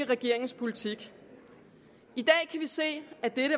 regeringens politik i dag kan vi se at dette